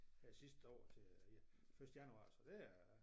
Her sidste år til første januar så det er